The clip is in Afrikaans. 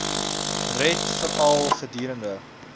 red veral gedurende